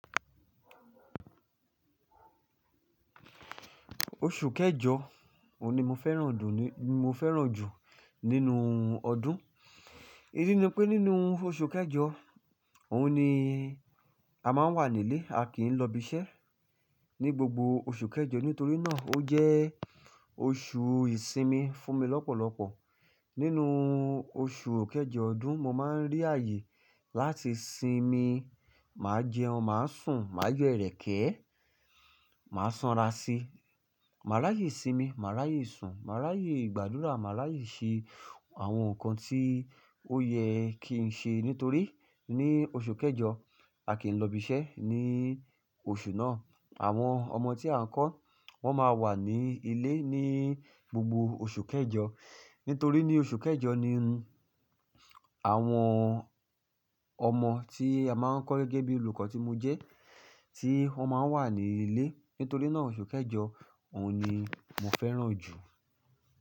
Oṣù kẹjọ òun ni mo fẹ́ràn dùn ni-- mo fẹ́ràn jù nínú ọdún. Ídí ni pé nínú oṣù kẹjọ, òun ni a máa ń wà nílé, a kì í lọ ibiṣẹ́ ní gbogbo oṣù kẹjọ. Nítorí náà ó jẹ́ oṣù ìsinmi fún mi lọ́pọ̀lọ́pọ̀. Nínú oṣù kẹjọ ọdún mo máa ń rí ààyè láti sinmi, màá jẹun, màá sùn, màá jẹ ìrẹ́kẹ́, màá sanra sí, màá ráyè sinmi, màá ráyè sùn, màá ráyè ìgbàdúrà, màá ráyè ṣe àwọn nǹkan tí ó yẹ kí n ṣe. Nítorí ní oṣù kẹjọ a kì í lọ ibiṣẹ́ ní oṣù náà. Àwọn ọmọ tí a ń kọ́ wọ́n máa wà ní ilé ní gbogbo oṣù kẹjọ. Nítorí ní oṣù kẹjọ ni àwọn ọmọ tí a máa ń kọ́ gẹ́gẹ́ bí olùkọ́ tí mo jẹ́ tí wọ́n máa wà nílé. Nítorí náà oṣù kẹjọ òun ni mo fẹ́ràn jù.